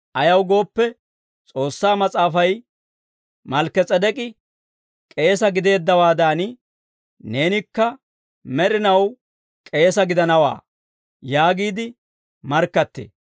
Ayaw gooppe, S'oossaa Mas'aafay, «Malkki-S'edek'k'i k'eesa gideeddawaadan, neenikka med'inaw k'eesa gidanawaa» yaagiide markkattee.